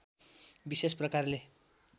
विशेष प्रकारले